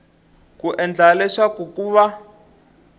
ku endlela leswaku ku va